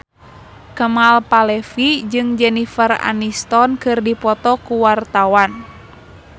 Kemal Palevi jeung Jennifer Aniston keur dipoto ku wartawan